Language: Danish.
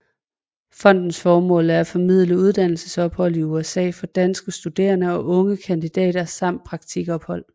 Fondets formål er at formidle uddannelsesophold i USA for danske studerende og unge kandidater samt praktikophold